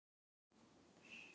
Eina sýn hef ég séð.